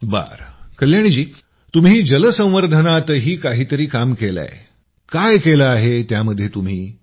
बरं कल्याणी जी तुम्ही जलसंवर्धनातही काहीतरी काम केलंय काय केलं आहे त्यामध्ये तुम्ही